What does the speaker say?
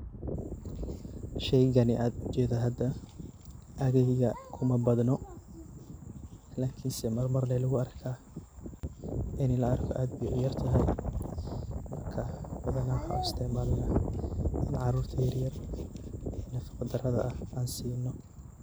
Sheygani ad ujedo hada aageyga kumabadno, lakinse marmar le luguarkaah. In laarko ad bay uyartahay, marka badanaa waxan uisticmalna in carurta yaryar nafaqada darada ah an sino.